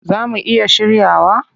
Zaa mu iya shiryawa?